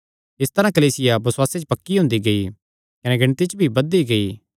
इस तरांह कलीसिया बसुआसे च पक्की हुंदी गेई कने गिणती च भी बधदी गेई